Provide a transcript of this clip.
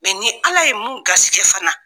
Mɛ ni Ala ye mun garisɛgɛ fana.